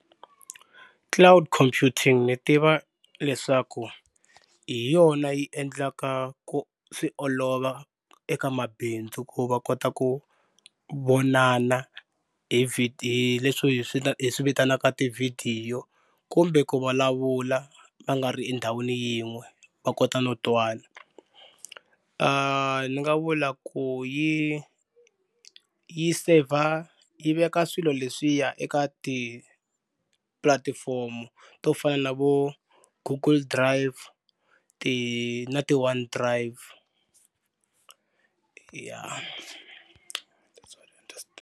Cloud Computing ni tiva leswaku hi yona yi endlaka ku swi olova eka mabindzu ku va kota ku vonana hi leswi swi hi swi hi swi vitanaka tivhidiyo kumbe ku vulavula va nga ri endhawini yin'we va kota no twana ni nga vula ku yi yi saver yi veka swilo leswiya eka ti-platform to fana na vo Google Drive ti na ti-OneDrive ya .